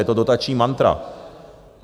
Je to dotační mantra.